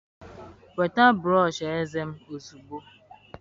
Nweta m brọsh eze m ozugbo.